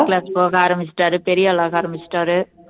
class போக ஆரம்பிச்சுட்டாரு பெரிய ஆள் ஆக ஆரம்பிச்சுட்டாரு